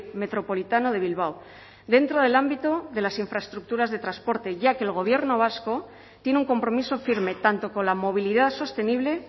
metropolitano de bilbao dentro del ámbito de las infraestructuras de transporte ya que el gobierno vasco tiene un compromiso firme tanto con la movilidad sostenible